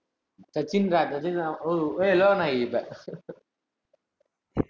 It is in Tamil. சச்சின்தான் சச்சின்தான் ஓ ஏ லோகநாயகி இப்ப